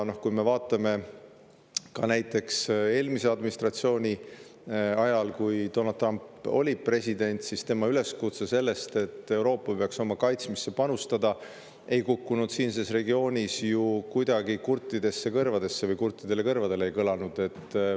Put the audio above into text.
Ka näiteks eelmise administratsiooni ajal, kui Donald Trump oli president, siis tema üleskutse, et Euroopa peaks oma kaitsmisesse panustama, ei siinses regioonis ju kuidagi kurtidele kõrvadele.